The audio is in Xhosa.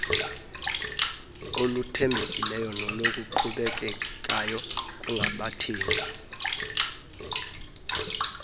oluthembekileyo noluqhubekekayo kubathengi